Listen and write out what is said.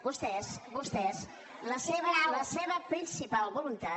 vostès vostès la seva principal voluntat